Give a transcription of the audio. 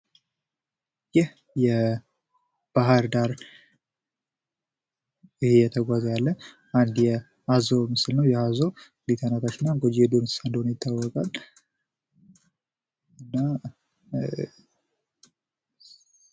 ይህ የባህር ዳር እየተጓዘ ያለ አንድ የአዞ ምስል ነው። ይህ አዞ እንድሁም ተናካሽ እንደሆነ ይታዎቃል። እን ኧ...